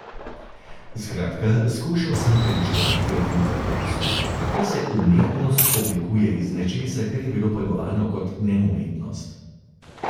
Skratka, skušal sem premišljevati o tem paradoksu, kako se umetnost oblikuje iz nečesa, kar je bilo pojmovano kot neumetnost.